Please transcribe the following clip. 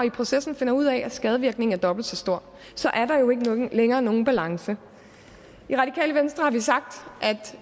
i processen finder ud af at skadevirkningen er dobbelt så stor så er der jo ikke længere nogen balance i radikale venstre har vi sagt